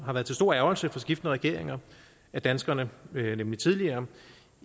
har været til stor ærgrelse for skiftende regeringer at danskerne nemlig tidligere